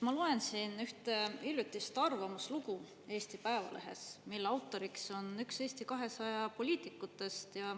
Ma loen üht hiljutist arvamuslugu Eesti Päevalehest, mille autor on üks Eesti 200 poliitikutest.